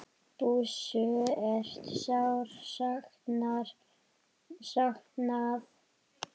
Bússu er sárt saknað.